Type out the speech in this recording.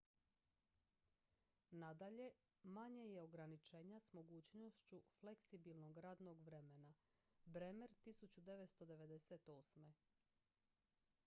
nadalje manje je ograničenja s mogućnošću fleksibilnog radnog vremena. bremer 1998.